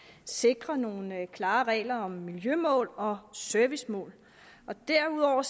at sikre nogle klare regler om miljømål og servicemål derudover